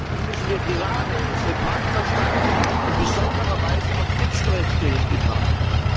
Selbstverständlich müssen wir gerade unsere Partnerstaaten in besonderer Weise auf Menschenrechte hin betrachten.